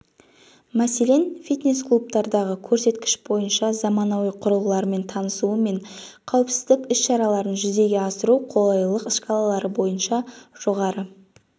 мәселен фитнес-клубтардағы көрсеткіш бойынша заманауи құрылғылармен танысу мен қауіпсіздік ісшараларын жүзеге асыру қолайлылық шкалалары бойынша жоғары